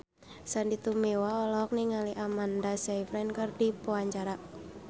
Sandy Tumiwa olohok ningali Amanda Sayfried keur diwawancara